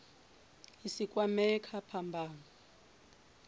a si kwamee kha phambano